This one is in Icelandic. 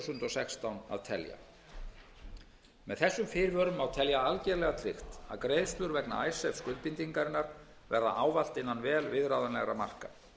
sextán að telja með þessum fyrirvörum má telja algerlega tryggt að greiðslur vegna skuldbindingarinnar verði ávallt innan vel viðráðanlegra marka